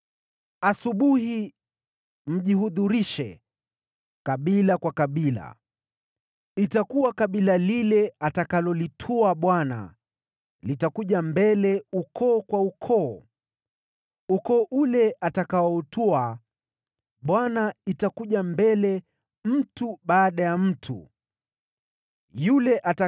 “ ‘Asubuhi, mjihudhurishe kabila kwa kabila. Itakuwa kabila lile atakalolitwaa Bwana litakuja mbele ukoo kwa ukoo, ukoo ule atakaoutwaa Bwana utakuja mbele jamaa kwa jamaa, nayo jamaa ile atakayoitwaa Bwana itakuja mbele mtu kwa mtu.